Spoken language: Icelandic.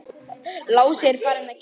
Lási er farinn að geyma.